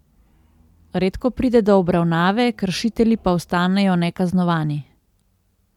Redko pride do obravnave, kršitelji pa ostanejo nekaznovani.